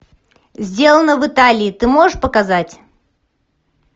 сделано в италии ты можешь показать